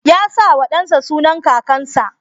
Ya sa wa ɗan sa sunan kakansa